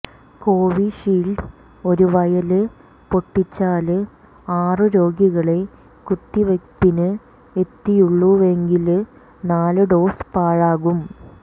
കോവിഷീല്ഡ് ഒരു വയല് പൊട്ടിച്ചാല് ആറു രോഗികളെ കുത്തിവയ്പ്പിന് എത്തിയുള്ളൂവെങ്കില് നാലു ഡോസ് പാഴാകും